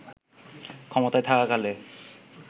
ক্ষমতায় থাকাকালে